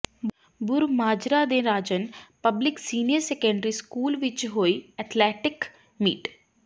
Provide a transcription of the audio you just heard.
ਬੂਰਮਾਜਰਾ ਦੇ Rajan public senior secondary school ਵਿੱਚ ਹੋਈ ਅਥਲੈਟਿਕ ਮੀਟ